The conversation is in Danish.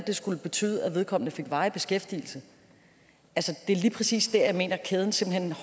skulle betyde at vedkommende fik varig beskæftigelse det er lige præcis der jeg mener kæden